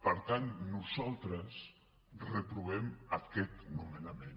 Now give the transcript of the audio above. per tant nosaltres reprovem aquest nomenament